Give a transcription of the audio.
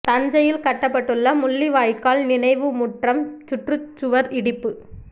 தஞ்சையில் கட்டப்பட்டுள்ள முள்ளி வாய்க்கால் நினைவு முற்றம் சுற்றுச் சுவர் இடிப்பு